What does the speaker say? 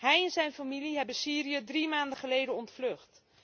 Hij en zijn familie hebben Syrië drie maanden geleden ontvlucht.